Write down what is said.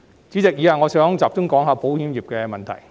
主席，以下我想集中講述保險業的問題。